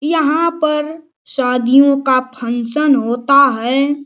यहाँ पर शादियों का फंक्शन होता है।